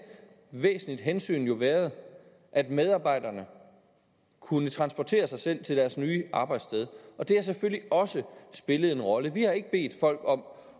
væsentligt hensyn jo været at medarbejderne kunne transportere sig selv til deres nye arbejdssted og det har selvfølgelig også spillet en rolle vi har ikke bedt folk om